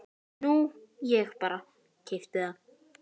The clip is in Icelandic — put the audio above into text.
Nú ég bara. keypti það.